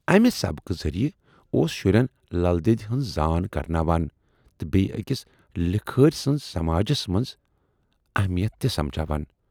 اَمہِ سبقہٕ ذریعہ اوس شُرٮ۪ن لل دیدِ ہٕنز زان کَرٕناوان تہٕ بییہِ ٲکِس لِکھٲرۍ سٕنز سماجَس منز اہمیتَھ تہِ سمجھاوان۔